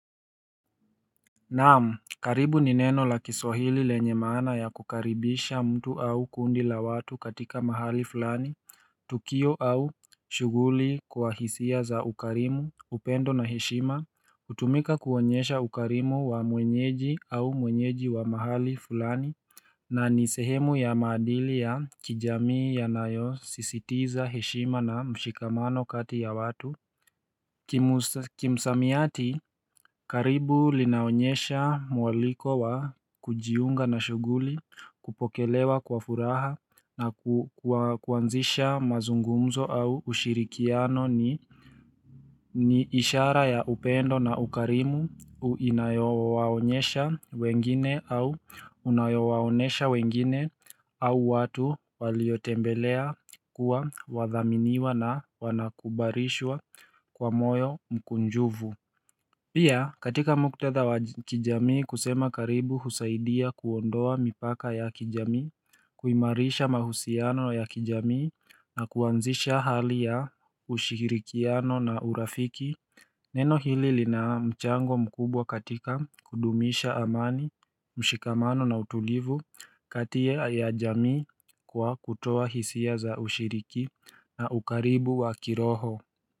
Naam karibu ni neno la kiswahili lenye maana ya kukaribisha mtu au kundi la watu katika mahali fulani Tukio au shughuli kwa hisia za ukarimu upendo na heshima hutumika kuonyesha ukarimu wa mwenyeji au mwenyeji wa mahali fulani na ni sehemu ya maadili ya kijamii yanayosisitiza heshima na mshikamano kati ya watu Kimsamiati karibu linaonyesha mwaliko wa kujiunga na shughuli Kupokelewa kwa furaha na kuanzisha mazungumzo au ushirikiano ni ni ishara ya upendo na ukarimu Inayowaonyesha wengine au unayowaonesha wengine au watu waliotembelea kuwa wathaminiwa na wanakubalishwa Kwa moyo mkunjufu Pia katika muktadha wa kijamii kusema karibu husaidia kuondoa mipaka ya kijamii kuimarisha mahusiano ya kijamii na kuanzisha hali ya ushirikiano na urafiki Neno hili lina mchango mkubwa katika kudumisha amani mshikamano na utulivu kati ya jamii Kwa kutoa hisia za ushiriki na ukaribu wa kiroho.